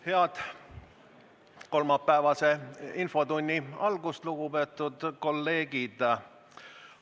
Head kolmapäevase infotunni algust, lugupeetud kolleegid!